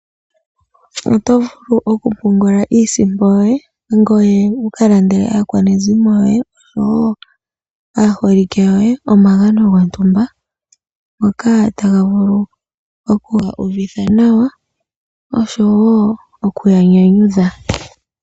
Oto vulu oku pungula iisimpo yoye, ngoye wu ka landele aakwanezimo yoye, osho wo aaholike yoye omagano gontumba, ngoka taga vulu oku ya uvitha nawa, osho wo oku ya nyanyudha.